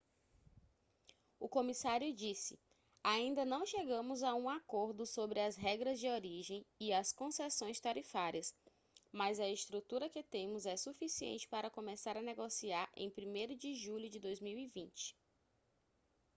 o comissário disse ainda não chegamos a um acordo sobre as regras de origem e as concessões tarifárias mas a estrutura que temos é suficiente para começar a negociar em 1º de julho de 2020